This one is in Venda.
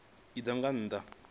a nnḓa nga nnḓa ha